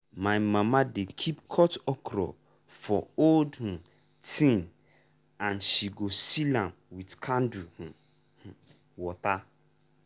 my mama dey keep cut okra for old um tin and she go seal am with candle water.